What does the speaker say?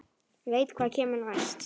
Veit hvað kemur næst.